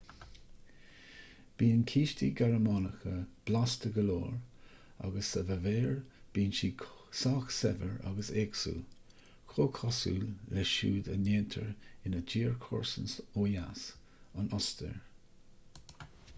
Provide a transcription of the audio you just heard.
bíonn cístí gearmánacha blasta go leor agus sa bhaváir bíonn siad sách saibhir agus éagsúil comhchosúil le siúd a ndéantar ina tír comharsan ó dheas an ostair